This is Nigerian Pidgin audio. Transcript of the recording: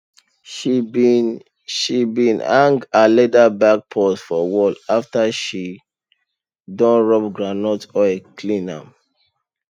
she bin she bin hang her leather purse for wall after she don rub groundnut oil clean am